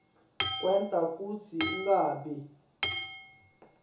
kwenta kutsi ungabi